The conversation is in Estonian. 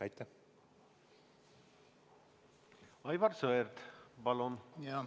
Aivar Sõerd, palun!